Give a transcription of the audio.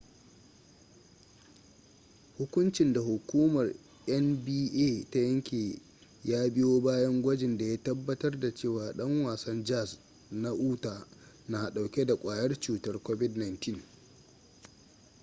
hukuncin da hukumar nba ta yanke ya biyo bayan gwajin da ya tabbatar da cewa dan wasan jazz na utah na dauke da kwayar cutar covid-19